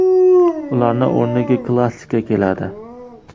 Ularning o‘rniga klassika keladi.